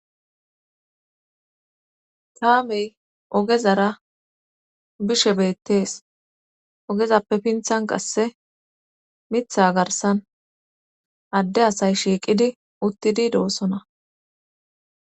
Kaamey ogezara bishe beettees ogezappe pinthan qasse mitha garsan adde asay shiiqidi uttidi doossona